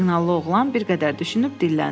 Siqnallı oğlan bir qədər düşünüb dinləndi.